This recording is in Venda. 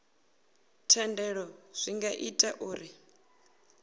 thendelo zwi nga ita uri